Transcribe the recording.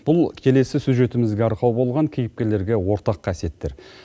бұл келесі сюжетімізге арқау болған кейіпкерлерге ортақ қасиеттер